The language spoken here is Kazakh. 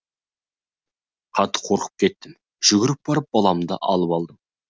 қатты қорқып кеттім жүгіріп барып баламды алып алдым